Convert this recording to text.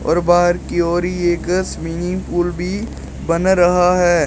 और बाहर की और ये एक स्विमिंग पूल भी बना रहा है।